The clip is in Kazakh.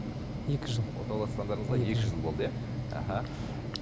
екі жыл отауласқандарыңызға екі жыл болды иә аха